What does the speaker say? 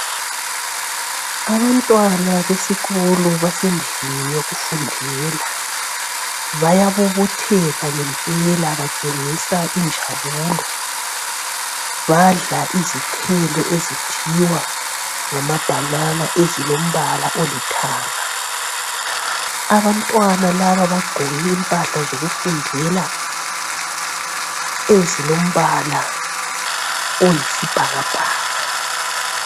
Abantwana besikolo basendlini yokufundela bayabobotheka ngempela batshengisa injabulo. Badla izithelo ezithiwa ngamabhanana ezilombala olithanga. Abantwana laba bagqoke impahla zokufundela ezilombala oyisibhakabhaka.